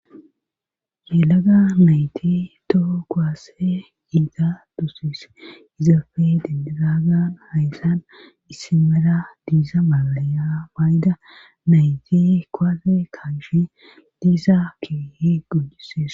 Yelaga nayti toho koaasse giita dusis izafe denderaagan hayssan issimera diisa malalaya baayda nayti koaase kaanshe diisa kiihi gudises.